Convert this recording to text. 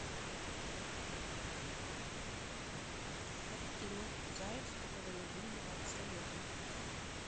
картина заяц который любил давать советы